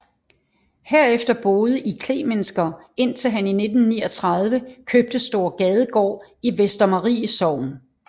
Herefter boede i Klemensker indtil han i 1839 købte Store Gadegård i Vestermarie Sogn